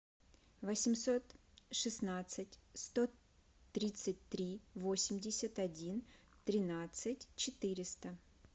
восемьсот шестнадцать сто тридцать три восемьдесят один тринадцать четыреста